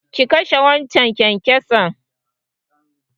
Ki kashe waccan kyankyason!